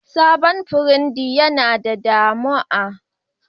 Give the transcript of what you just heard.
Sabon pirig din Yana da damu'a